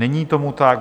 Není tomu tak.